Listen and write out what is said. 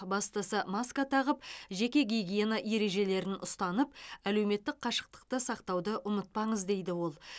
бастысы маска тағып жеке гигиена ережелерін ұстанып әлеуметтік қашықтықты сақтауды ұмытпаңыз дейді ол